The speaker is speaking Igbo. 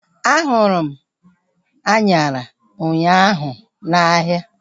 A hụrụ m anyara ụnyaahụ n'ahia